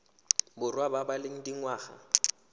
borwa ba ba leng dingwaga